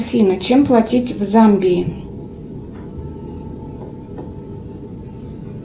афина чем платить в замбии